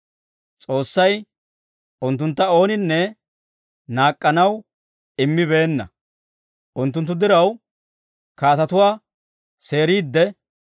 S'oossay unttuntta ooninne naak'k'anaw immibeenna; unttunttu diraw kaatetuwaa seeriidde,